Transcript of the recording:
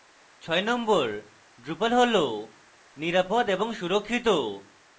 number 6: drupal হল নিরাপদ এবং সুরক্ষিত